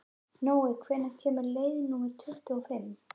Nói, hvenær kemur leið númer tuttugu og fimm?